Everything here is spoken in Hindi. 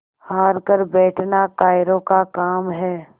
हार कर बैठना कायरों का काम है